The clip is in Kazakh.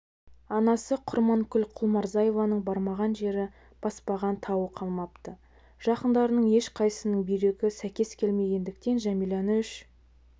анасы құрманкүл құлмұрзаеваның бармаған жері баспаған тауы қалмапты жақындарының ешқайсысының бүйрегі сәйкес келмегендіктен жәмилә үш